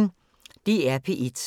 DR P1